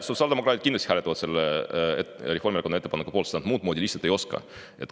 Sotsiaaldemokraadid kindlasti hääletaksid selle Reformierakonna ettepaneku poolt, sest nad muud moodi lihtsalt ei oska.